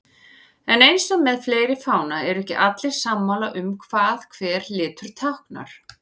En eins og með fleiri fána eru ekki allir sammála um hvað hver litur táknar.